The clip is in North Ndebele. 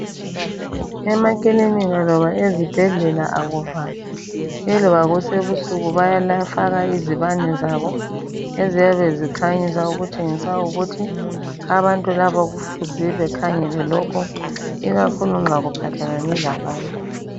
Emaklinika loba ezibhedlela akuvalwa eloba kusebusuku bayafaka izibane zabo eziyabe zikhanyisa okutshengisa ukuthi abantu labo kufuze bekhangele lokhu ikakhulu nxa kuphathelane labantu.